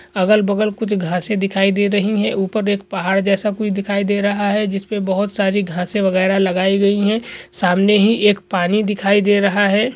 अगल-बगल कुछ घासे दिखाई दे रहीं हैं ऊपर एक पहाड़ जैसा कुछ दिखाई दे रहा है जिसपे बहुत सारी घासें वगैरा लगाई गई हैं सामने ही एक पानी दिखाई दे रहा है।